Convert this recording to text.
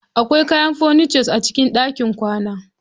Akwai kayan furniture a cikin ɗakin kwana.